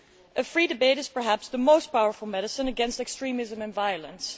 A free debate is perhaps the most powerful medicine against extremism and violence.